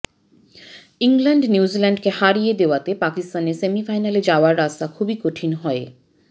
England নিউজিল্যান্ডকে হারিয়ে দেওয়াতে পাকিস্তানের সেমিফাইনালে যাওয়ার রাস্তা খুবই কঠিন হয়ে